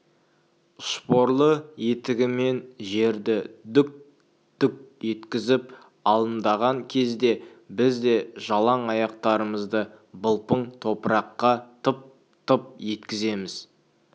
шпорлы етігімен жерді дүк-дүк еткізіп адымдаған кезде біз де жалаң аяқтарымызды былпың топыраққа тып-тып еткіземіз